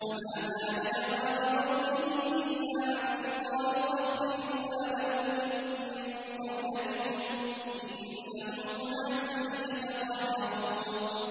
۞ فَمَا كَانَ جَوَابَ قَوْمِهِ إِلَّا أَن قَالُوا أَخْرِجُوا آلَ لُوطٍ مِّن قَرْيَتِكُمْ ۖ إِنَّهُمْ أُنَاسٌ يَتَطَهَّرُونَ